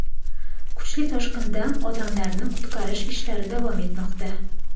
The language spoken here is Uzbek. Kuchli toshqindan odamlarni qutqarish ishlari davom etmoqda.